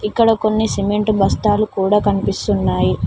ఇక్కడ కొన్ని సిమెంటు బస్తాలు కూడా కనిపిస్తున్నాయి.